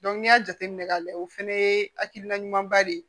n'i y'a jateminɛ k'a layɛ o fɛnɛ ye hakilina ɲumanba de ye